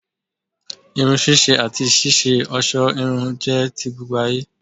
Irun ṣíṣe àti ṣíṣe òṣó irun jẹ́ ti gbogbo ayé